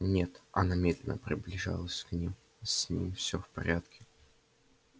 нет она медленно приближалась к ним с ним все в порядке